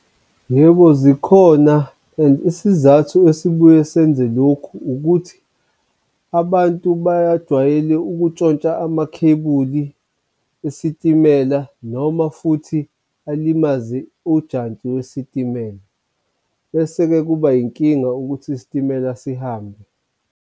Yebo, zikhona and isizathu esibuye senze lokhu ukuthi abantu bayajwayele ukutshontsha amakhebuli esitimela noma futhi alimaze unjantshi wesitimela, bese-ke kuba inkinga ukuthi isitimela sihambe.